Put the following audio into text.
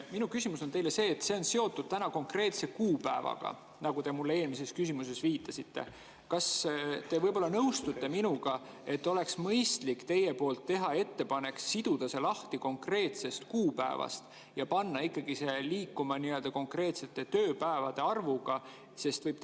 Minu küsimus on teile see – see on seotud konkreetse kuupäevaga, nagu te mulle eelmises viitasite –, kas te võib-olla nõustute minuga, et teil oleks mõistlik teha ettepanek siduda see lahti konkreetsest kuupäevast ja panna ikkagi liikuma nii-öelda konkreetsest tööpäevade arvust sõltuvalt.